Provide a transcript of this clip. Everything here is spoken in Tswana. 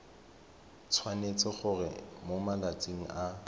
tshwanetse gore mo malatsing a